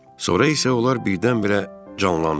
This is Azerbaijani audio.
Sonra isə onlar birdən-birə canlandılar.